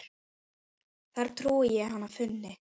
þar trúi ég hann fúni.